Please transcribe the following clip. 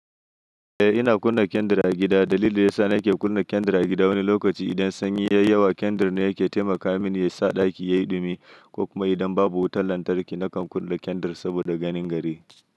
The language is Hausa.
Eh ina kunna kendir a gida. Dalilin da ya sa nake kunna kendir a gida wani lokaci idan sanyi yayi yawa kendir ne yake taimaka mini yasa ɗaki yayi ɗumi, ko kuma idan babu wutar lantarki nakan kunna kendir saboda ganin gari.